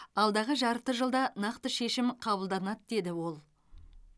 алдағы жарты жылда нақты шешім қабылданады деді ол